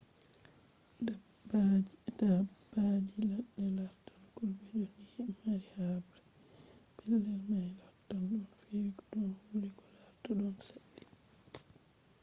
dabbaji ladde lartan kulɓe ko ɗi mari haɓre. pellel may lartan ɗon fewi ko ɗon wuli ko larta ɗon saɗɗi